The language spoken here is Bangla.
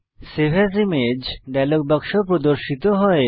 সেভ এএস ইমেজ ডায়লগ বাক্স প্রর্দশিত হয়